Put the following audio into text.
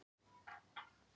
Drangey í Skagafirði.